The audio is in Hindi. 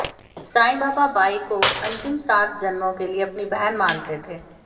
साईं बाबा बाई को अंतिम सात जन्मों के लिए अपनी बहन मानते थे